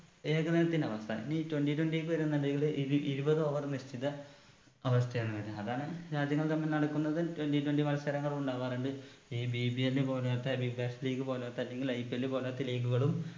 ഏകദിനത്തിന്റെ അവസ്ഥ ഇനി twenty twenty ക്ക് വരുന്നുണ്ടെങ്കില് ഇത് ഇരുപത് over നിശ്ചിത അവസ്ഥയാണ് വരുവാ അതാണ് രാജ്യങ്ങൾ തമ്മിൽ നടക്കുന്നത് twenty twenty മത്സരങ്ങൾ ഉണ്ടാകാറുണ്ട് ഈ BBL പോലോത്ത വികസ് league പോലോത്ത അല്ലെങ്കിൽ IPL പോലോത്ത league കളും